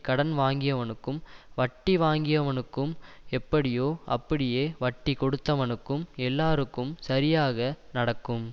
கடன்வாங்கியவனுக்கும் வட்டிவாங்கியவனுக்கு எப்படியோ அப்படியே வட்டிகொடுத்தவனுக்கும் எல்லாருக்கும் சரியாக நடக்கும்